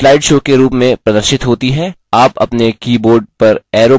प्रस्तुति slide show के रूप में प्रदर्शित होती है